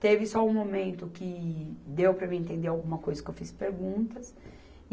Teve só um momento que deu para mim entender alguma coisa, que eu fiz perguntas.